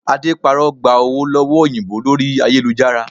Ade parọ́ gba owó lọ́wọ́ òyìnbó lórí ayélujára